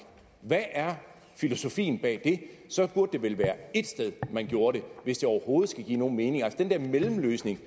hvad er filosofien bag det så burde det vel være ét sted man gjorde det hvis det overhovedet skal give nogen mening den der mellemløsning